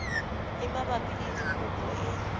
e mabapi le dikopo e